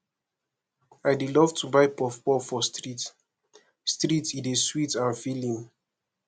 i dey love to buy puffpuff for street street e dey sweet and filling